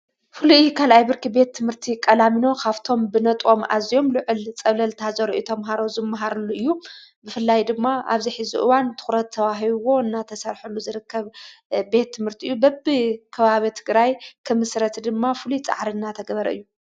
ፍሉይ ካልኣይ ብርኪ ቤት ትምህርቲ ቀላሚኖ ኻፍቶም ብነጥም ኣዚዮም ልዕል ጸብለልታ ዘርእዩ ተምሃሮ ዝመሃሩሉ እዩ፡፡ ብፍላይ ድማ ኣብዚ ዝሕዚ ኡዋን ትዂረት ተባሂብዎ እናተሠርሐሉ ዝርከብ ቤት ትምህርቲ እዩ፡፡ በብ ኽባቢ ትግራይ ክምሥረት ድማ ፍሉይ ፃዕሪ እናተገበረ እዩ፡፡